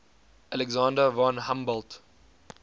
alexander von humboldt